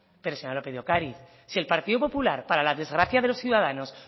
pero señora lópez de ocariz si el partido popular para la desgracia de los ciudadanos